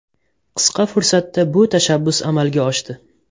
Qisqa fursatda bu tashabbus amalga oshdi.